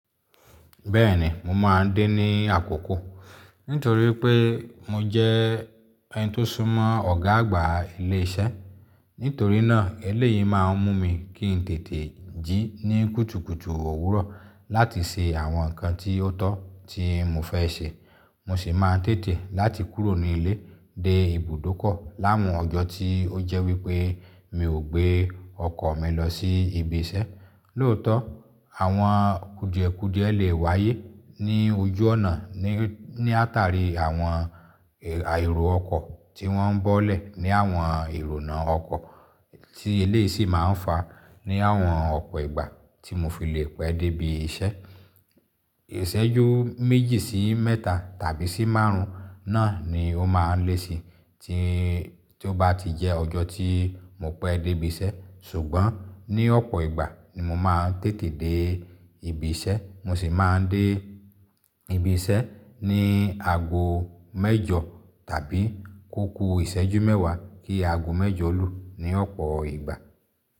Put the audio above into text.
Bẹ́ẹ̀ni, mo máa ń dé ní àkókò nítorí pé mo jẹ́ ẹni tó súnmọ́ ọ̀gá àgbà ilé iṣẹ́. Nítorí náà, eléyìí máa ń mú mi kí n tètè jí ní kùtùkùtù òwúrọ̀ láti ṣe àwọn nǹkan tí ó tọ́ tí mo fẹ́ ṣe. Mo sì máa ń tètè láti kúrò ní ilé dé ibùdókọ̀ láàwọn ọjọ́ tí ó jẹ́ wípé mi ò gbé ọkọ̀ mi lọ sí ibi iṣẹ́. Lóòótọ́, àwọn kùdìẹ̀kùdìẹ lè wáyé ní ojú ọ̀nà ní àtàrí àwọn àìrò ọkọ̀ tí wọ́n ń bọ́lẹ̀ ní àwọn ìrònú ọkọ̀ tí eléyìí sì máa ń fa ní àwọn ọ̀pọ̀ ìgbà tí mo fi lè pẹ́ dé ibi iṣẹ́. Ìṣẹ́jú méjì sí mẹ́ta tàbí sí márùn-ún náà ni ó máa ń lé sí i tí ó bá ti jẹ́ ọjọ́ tí mo pẹ́ dé ibi iṣẹ́. Ṣùgbọ́n ní ọ̀pọ̀ ìgbà ni mo máa ń tètè dé ibi iṣẹ́. Mo sì máa ń dé ibi iṣẹ́ ní ago mẹ́jọ tàbí kúúkuù ìṣẹ́jú mẹ́wàá kí ago mẹ́jọ lu ní ọ̀pọ̀ ìgbà.